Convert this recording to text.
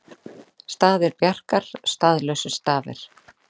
Staðir Bjarkar staðlausir stafir